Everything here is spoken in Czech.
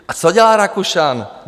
A co dělá Rakušan?